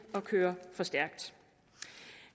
at køre for stærkt